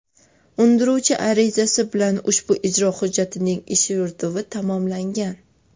Undiruvchi arizasi bilan ushbu ijro hujjatining ish yurituvi tamomlangan.